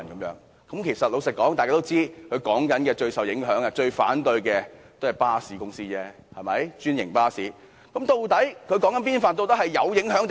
實話實說，大家也知道，政府口中最受影響、最反對該建議的唯有專營巴士公司而已，對嗎？